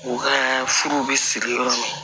U ka furuw bɛ siri yɔrɔ min na